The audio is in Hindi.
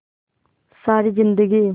सारी जिंदगी